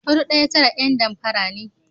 Hudu ɗaya tara ’yan damfara ne.